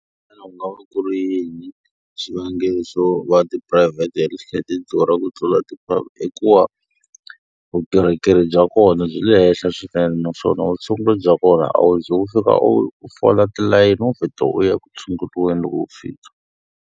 Xana ku nga va ku ri yini xivangelo xo va tiphurayivhete health care ti durha ku tlula ti . I ku va vukorhokeri bya kona byi le henhla swinene naswona vutshunguri bya kona a wu ze u u fika u fola tilayini, wo vheta u ya eku tshunguriweni loko u fika.